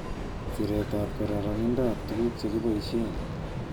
Siretab kororonindab tuguk che kiboishen